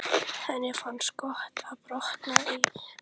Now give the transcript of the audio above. Henni finnst gott að blotna í framan.